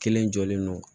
Kelen jɔlen don